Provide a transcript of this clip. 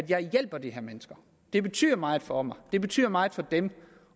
jeg hjælper de her mennesker det betyder meget for mig det betyder meget for dem